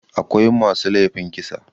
akwai masu laifin kisa